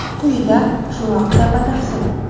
Quyida shu haqida batafsil.